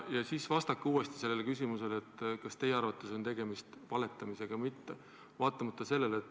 Ja siis vastake uuesti küsimusele, kas teie arvates on tegemist valetamisega või mitte.